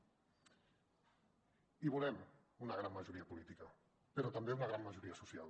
i volem una gran majoria política però també una gran majoria social